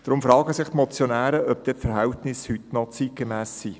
Deshalb fragen sich die Motionäre, ob die Verhältnisse heute noch zeitgemäss seien.